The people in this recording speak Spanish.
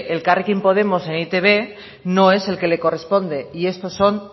elkarrekin podemos en e i te be no es el que le corresponde y esto son